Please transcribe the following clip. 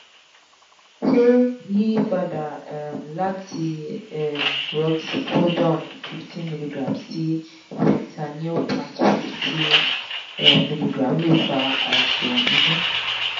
ṣé yiyípadà um láti um roxicodone fifteen milligram sí fentanyl patch fifty um milligram lè fa àisan inu?